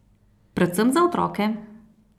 Predvsem za otroke!